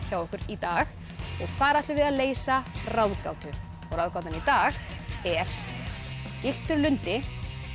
hjá okkur í dag og þar ætlum við að leysa ráðgátu og ráðgátan í dag er gylltur lundi